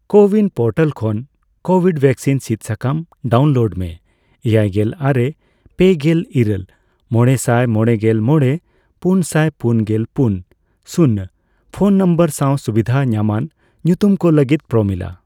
CoWIN portal ᱠᱷᱚᱱ Covid vaccine ᱥᱤᱫ ᱥᱟᱠᱟᱢ ᱰᱟᱣᱩᱱᱞᱳᱰ ᱢᱮ ᱮᱭᱟᱭᱜᱮᱞ ᱟᱨᱮ ,ᱯᱮᱜᱮᱞ ᱤᱨᱟᱹᱞ ,ᱢᱚᱲᱮᱥᱟᱭ ᱢᱚᱲᱮᱜᱮᱞ ᱢᱚᱲᱮ ,ᱯᱩᱱᱥᱟᱭ ᱯᱩᱱᱜᱮᱞ ᱯᱩᱱ ,ᱥᱩᱱ ᱯᱷᱚᱱ ᱱᱚᱢᱵᱚᱨ ᱥᱟᱣ ᱥᱩᱵᱤᱫᱷ ᱧᱟᱢᱟᱱ ᱧᱩᱛᱩᱢ ᱠᱚ ᱞᱟᱹᱜᱤᱫ ᱯᱨᱳᱢᱤᱞᱟ ᱾